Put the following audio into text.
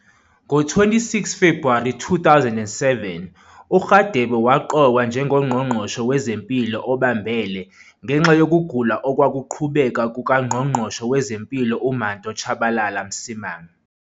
Ngo-26 Febhuwari 2007, uRadebe waqokwa njengoNgqongqoshe WezeMpilo obambele ngenxa yokugula okwakuqhubeka kukaNgqongqoshe wezeMpilo uManto Tshabalala-Msimang.